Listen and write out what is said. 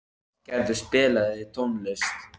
Ástgerður, spilaðu tónlist.